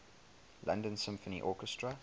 london symphony orchestra